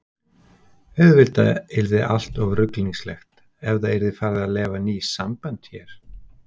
Auðvitað yrði allt of ruglingslegt ef það yrði farið að leyfa ný sambönd hér.